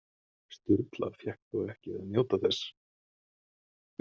Sturla fékk þó ekki að njóta þess.